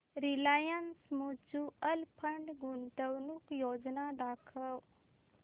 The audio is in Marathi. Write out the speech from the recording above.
रिलायन्स म्यूचुअल फंड गुंतवणूक योजना दाखव